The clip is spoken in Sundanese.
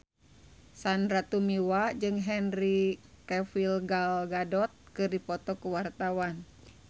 Sandy Tumiwa jeung Henry Cavill Gal Gadot keur dipoto ku wartawan